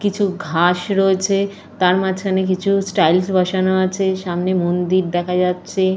কিছু ঘাস রয়েছে। তার মাঝখানে কিছু টাইলস বসানো আছে। সামনে মন্দির দেখা যাচ্ছে।